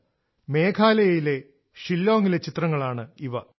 ഷില്ലോങിലെ മേഘാലയയിലെ ചിത്രങ്ങളാണിവ